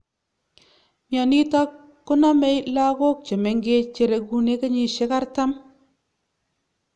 mionitok nitok konamee lakook chemengech cherekunee kenyishek artam